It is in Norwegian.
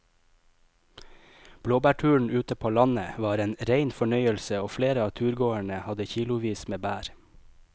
Blåbærturen ute på landet var en rein fornøyelse og flere av turgåerene hadde kilosvis med bær.